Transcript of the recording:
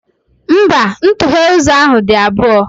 Mba, ntughe ụzọ ahụ dị abụọ.